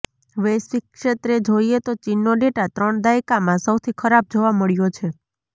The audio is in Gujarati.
વૈશ્વિક ક્ષેત્રે જોઈએ તો ચીનનો ડેટા ત્રણ દાયકામાં સૌથી ખરાબ જોવા મળ્યો છે